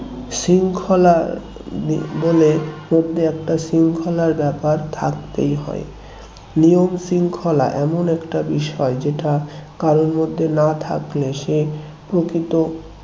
শৃঙ্খলা বলে শ্রদ্ধেয় একটা শৃঙ্খলার ব্যাপার থাকতেই হয় নিয়ম শৃঙ্খলা এমন একটা বিষয় যেটা কারোর মধ্যে না থাকলে সে প্রকৃত